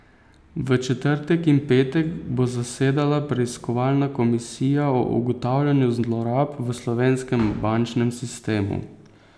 V četrtek in petek bo zasedala preiskovalna komisija o ugotavljanju zlorab v slovenskem bančnem sistemu.